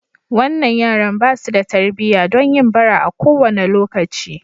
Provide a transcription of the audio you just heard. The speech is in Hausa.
Wannan yaran ba su da tarbiyya don yin bara a kowane lokaci.